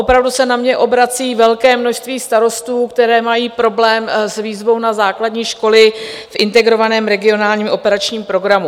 Opravdu se na mne obrací velké množství starostů, kteří mají problém s výzvou na základní školy v integrovaném regionálním operačním programu.